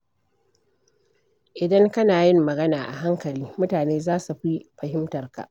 Idan kana yin magana a hankali, mutane za su fi fahimtarka.